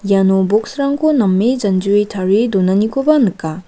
iano box-rangko name janjue tarie donanikoba nika.